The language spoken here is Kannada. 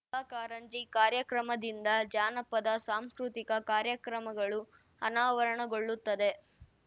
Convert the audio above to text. ಪ್ರತಿಭಾ ಕಾರಂಜಿ ಕಾರ್ಯಕ್ರಮದಿಂದ ಜಾನಪದ ಸಾಂಸ್ಕೃತಿಕ ಕಾರ್ಯಕ್ರಮಗಳು ಅನಾವರಣಗೊಳ್ಳುತ್ತದೆ